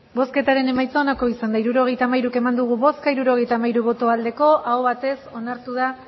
hirurogeita hamairu eman dugu bozka hirurogeita hamairu bai aho batez onartu